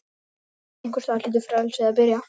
Einhvers staðar hlýtur frelsið að byrja.